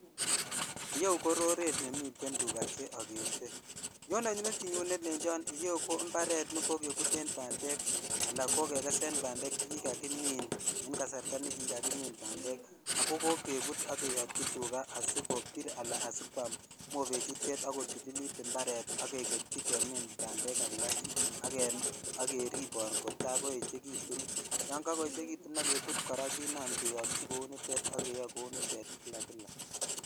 Ireu ko roret nemiten tuga che agete. Nyone metinyun nelenjon iyeu ko mbaret ne kokebuten bandek anakokekesen bandek che kikakimin en kasarta nekikakimin bandek ago kokebut ak keyotyi tuga asikipir anaasikwam mobechutet bokotililit mbaret ak keketyi kemin bandek alak ak keribon kotai koechegitun. Yon kakoechegitun ak kebut kora kenam keyotyi kunitet ak keyoe kunitet kila kila.